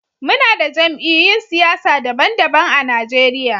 Muna da jamiyy'un siyasa daban-daban a Najeriya